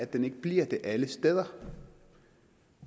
den ikke bliver det alle steder